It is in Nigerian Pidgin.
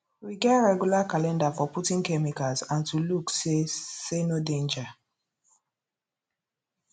we get regular calendar for putting chemicals and to look say say no danger